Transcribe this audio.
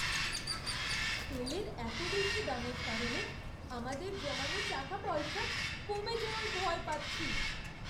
তেলের এত বেশি দামের কারণে আমাদের জমানো টাকাপয়সা কমে যাওয়ার ভয় পাচ্ছি।